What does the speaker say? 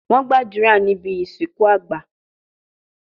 Wọ́n gbàdúrà níbi ìsìnkú àgbà